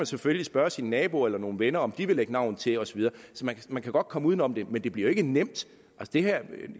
selvfølgelig spørge sin nabo eller nogle venner om de vil lægge navn til og så videre så man kan godt komme uden om det men det bliver jo ikke nemt